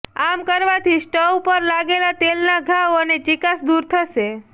આમ કરવાથી સ્ટવ પર લાગેલા તેલના ડાઘ અને ચીકાશ દૂર થશે